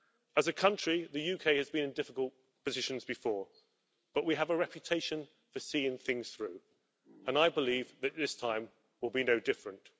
As a country the UK has been in difficult positions before, but we have a reputation for seeing things through and I believe that this time will be no different.